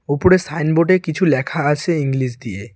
ওপরে সাইনবোর্ডে কিছু লেখা আসে ইংলিশ দিয়ে।